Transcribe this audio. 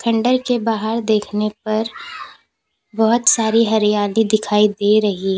के बाहर देखने पर बहोत सारी हरियाली दिखाई दे रही है।